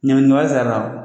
Ɲangini